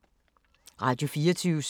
Radio24syv